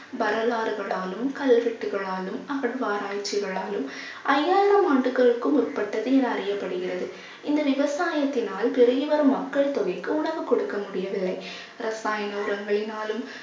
வரலாறுகளாலும் கல்வெட்டுகளாலும் அகழ்வாராய்ச்சிகளாலும் ஐயாயிரம் ஆண்டுகளுக்கு உட்பட்டது என அறியப்படுகிறது இந்த விவசாயத்தினால் பெருகி வரும் மக்கள் தொகைக்கு உணவு கொடுக்க முடியவில்லை. ரசாயன உரங்களினாலும்